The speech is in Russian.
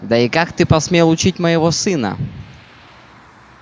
да и как ты посмел учить моего сына